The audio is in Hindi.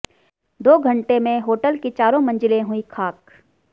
दो घंटे में होटल की चारों मंजिलें हुई खाक